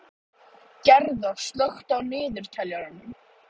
Ég tapaði hlutkestinu og fór til